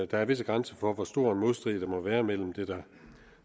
der er visse grænser for hvor stor en modstrid der må være mellem det der